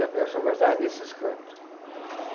Lampião só gostava desses cantos.